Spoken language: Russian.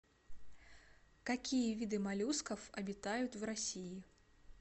какие виды моллюсков обитают в россии